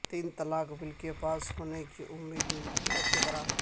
تین طلاق بل کے پاس ہونے کی امید نہ کے برابر